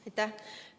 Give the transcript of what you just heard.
Aitäh!